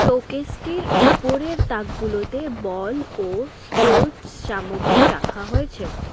Showcase -টির উপরের তাকগুলোতে বল ও স্পোর্টস সামগ্রী রাখা হয়েছে।